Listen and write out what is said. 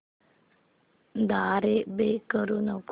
द्वारे पे करू नको